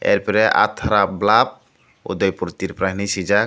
are pore athara blub udaipur tripura hinui suijak.